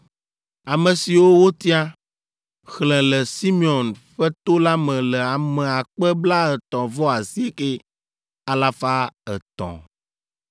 Ame siwo wotia, xlẽ le Simeon ƒe to la me le ame akpe blaetɔ̃-vɔ-asieke, alafa etɔ̃ (59,300).